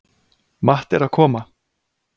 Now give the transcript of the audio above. Matti er að koma!